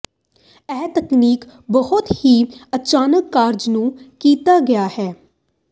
ਇਹ ਤਕਨੀਕ ਬਹੁਤ ਹੀ ਅਚਾਨਕ ਕਾਰਜ ਨੂੰ ਕੀਤਾ ਗਿਆ ਹੈ